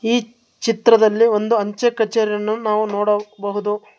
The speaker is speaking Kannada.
ಈ ಚಿತ್ರದಲ್ಲಿ ಒಂದು ಅಂಚೆ ಕಚೇರಿಯನ್ನು ನಾವು ನೋಡಬಹುದು.